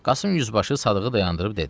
Qasım yüzbaşı Sadığı dayandırıb dedi: